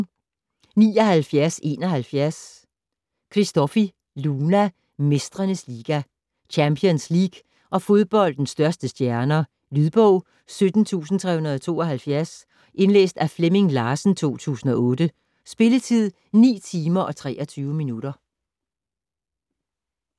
79.71 Christofi, Luna: Mestrenes liga Champions League og fodboldens største stjerner. Lydbog 17372 Indlæst af Flemming Larsen, 2008. Spilletid: 9 timer, 23 minutter.